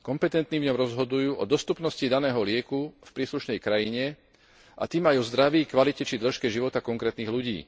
Kompetentní rozhodujú o dostupnosti daného lieku v príslušnej krajine a tým aj o zdraví, kvalite či dĺžke života konkrétnych ľudí.